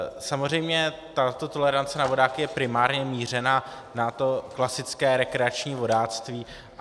Samozřejmě ta tolerance na vodáky je primárně mířena na to klasické rekreační vodáctví.